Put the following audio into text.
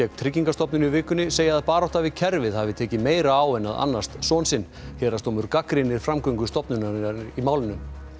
Tryggingastofnun í vikunni segja að barátta við kerfið hafi tekið meira á en að annast son sinn héraðsdómur gagnrýnir framgöngu stofnunarinnar í málinu